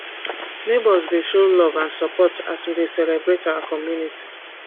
neighbors dey show love and support as we dey celebrate our community